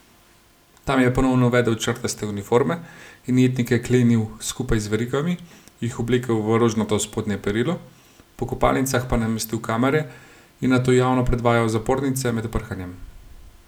Tam je ponovno uvedel črtaste uniforme in jetnike klenil skupaj z verigami, jih oblekel v rožnato spodnje perilo, po kopalnicah pa namestil kamere in nato javno predvajal zapornice med prhanjem.